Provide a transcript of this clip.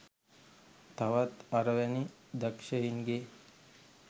තවත් අර වැනි දක්ෂයි‍න්ගේ